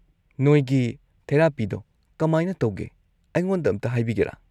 ꯅꯣꯏꯒꯤ ꯊꯦꯔꯥꯄꯤꯗꯣ ꯀꯃꯥꯏꯅ ꯇꯧꯒꯦ ꯑꯩꯉꯣꯟꯗ ꯑꯝꯇ ꯍꯥꯏꯕꯤꯒꯦꯔꯥ?